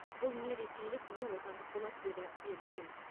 бұл не ресейлік не отандық болады деді бекшин